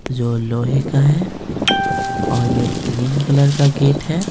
जो लोहे का है और यह ग्रीन कलर का गेट है।